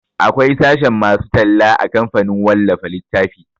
Akwai sashen masu talla a kamfanin wallafa littafi